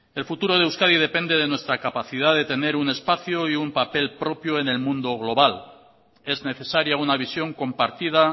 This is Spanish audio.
el futuro de euskadi depende de nuestra capacidad de tener un espacio y un papel propio en el mundo global es necesaria una visión compartida